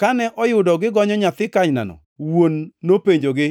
Kane oyudo gigonyo nyathi kanynano, wuon nopenjogi,